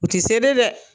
U ti se de dɛ